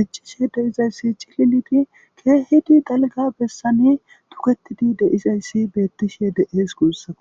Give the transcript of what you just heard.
dicchishe deizayssi cillidi keehidi dalga bessani tuketidi deizayssi beettishe deees guussaku.